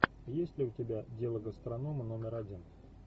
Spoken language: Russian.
есть ли у тебя дело гастронома номер один